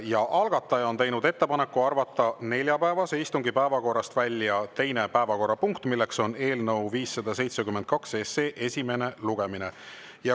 Ja algataja on teinud ettepaneku arvata neljapäevase istungi päevakorrast välja teine päevakorrapunkt, milleks on eelnõu 572 esimene lugemine.